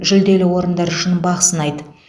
жүлделі орындар үшін бақ сынайды